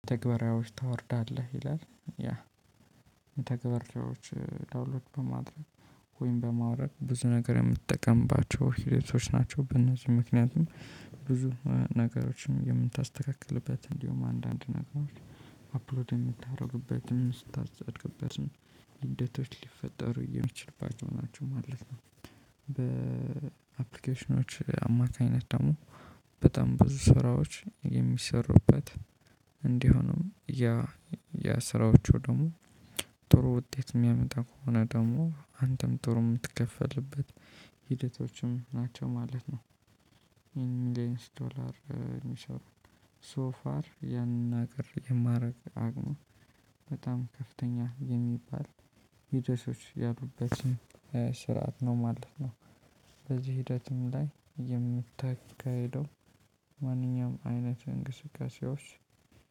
ትግበራዎች ታወርዳለህ ይላል ያ ተግባራዎች ዳውንሎድ በማድረግ ወይም በማውረድ ብዙ ነገር የምጠቀምባቸው ህይወቶች ናቸው። በእነዚህ ምክንያትም ብዙ ነገሮችን የምታስተካክልበት እንዲሁም አንዳንድ ነገሮች አፕሎድ የምታደርግበትን ስታጸድቅበትን ሂደቶች ሊፈጠሩ የሚችልባቸው ናቸው ማለት ነው። በአፕሊኬሽኖች አማካኝነት ደግሞ በጣም ብዙ ስራዎች የሚሰሩበት እንዲሆኑም ያ ያ ስራዎቹ ደግሞ ጥሩ ውጤት የሚያመጣ ከሆነ ደግሞ አንተም ጥሩ የምትከፈልበት ሂደቶችም ናቸው ማለት ነው። እንድ ኢንስቶላር የሚሰሩ ሶ ፋር ያንን ነገር የማደርግ አቅሙ በጣም ከፍተኛ የሚባል የደሴዎች ያሉበትን ስራአት ነው ማለት ነው። በዚህ ሂደትም ላይ የምታካሂደው ማንኛውም አይነት እንቅስቃሴዎች